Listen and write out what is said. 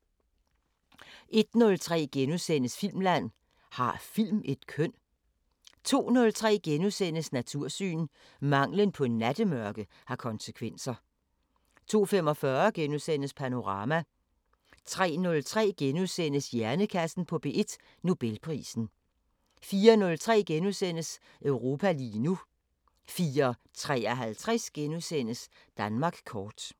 01:03: Filmland: Har film et køn? * 02:03: Natursyn: Manglen på nattemørke har konsekvenser * 02:45: Panorama * 03:03: Hjernekassen på P1: Nobelprisen * 04:03: Europa lige nu * 04:53: Danmark kort *